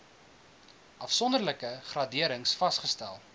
afsonderlike graderings vasgestel